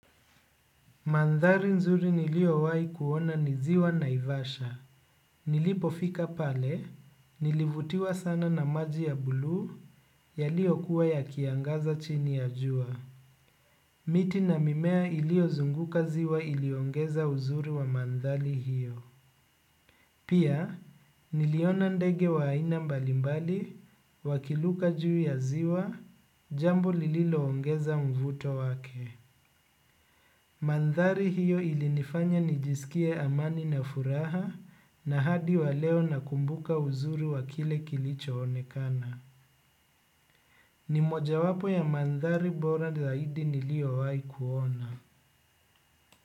Mandhari nzuri nilio wai kuona niziwa na ivasha. Nilipo fika pale, nilivutiwa sana na maji ya bluu, ya lio kuwa ya kiangaza chini ya jua. Miti na mimea ilio zunguka ziwa iliongeza uzuri wa mandhali hiyo. Pia, niliona ndege wa haina mbalimbali, wakiluka jui ya ziwa, jambo lililo ongeza mvuto wake. Mandhari hiyo ilinifanya nijisikie amani na furaha na hadi waleo nakumbuka uzuri wa kile kilicho onekana. Ni moja wapo ya mandhari bora zaidi nilio wahi kuona.